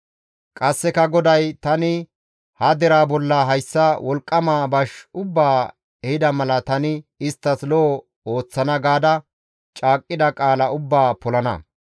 Qasseka GODAY, «Tani ha deraa bolla hayssa wolqqama bash ubbaa ehida mala tani isttas lo7o ooththana gaada caaqqida qaala ubbaa polana.